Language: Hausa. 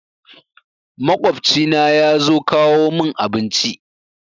Maƙwabci na yazo kawo mun abinci